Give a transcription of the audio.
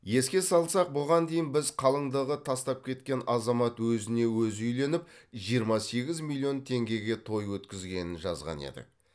еске салсақ бұған дейін біз қалыңдығы тастап кеткен азамат өзіне өзі үйленіп жиырма сегіз миллион теңгеге той өткізгенін жазған едік